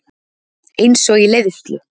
Einsog í leiðslu.